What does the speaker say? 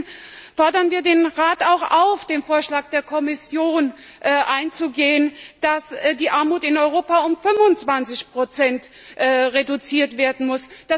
Deswegen fordern wir den Rat auch auf, auf den Vorschlag der Kommission einzugehen, dass die Armut in Europa um 25 reduziert werden muss.